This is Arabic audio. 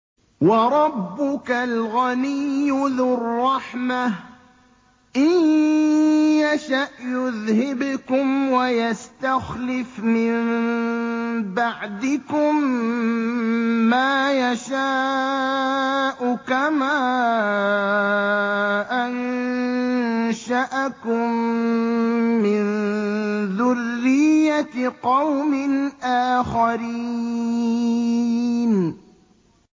وَرَبُّكَ الْغَنِيُّ ذُو الرَّحْمَةِ ۚ إِن يَشَأْ يُذْهِبْكُمْ وَيَسْتَخْلِفْ مِن بَعْدِكُم مَّا يَشَاءُ كَمَا أَنشَأَكُم مِّن ذُرِّيَّةِ قَوْمٍ آخَرِينَ